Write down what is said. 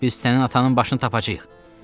Biz sənin atanın başını tapacağıq.